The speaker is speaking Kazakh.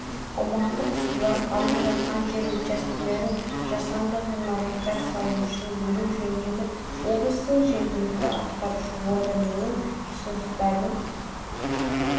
аумақтық сулар алып жатқан жер учаскелерін жасанды ғимараттар салу үшін беру жөніндегі облыстың жергілікті атқарушы органының ұсыныстарын